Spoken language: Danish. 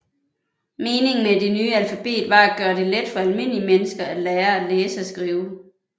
Meningen med det nye alfabet var at gøre det let for almindelige mennesker at lære at læse og skrive